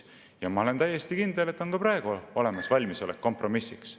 Ja ma olen täiesti kindel, et on ka praegu olemas valmisolek kompromissiks.